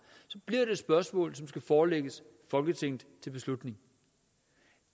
så bliver det et spørgsmål som skal forelægges folketinget til beslutning